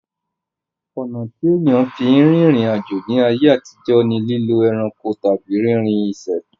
Ọ̀nà tí ènìyàn fi ń rìnrìn àjò ní ayé àtijó ni lílo ẹranko tàbí rínrrinṣẹ̀